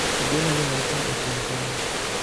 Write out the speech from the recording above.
Ageno ni wachno ochung' kanyo